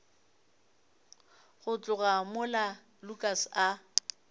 go tloga mola lukas a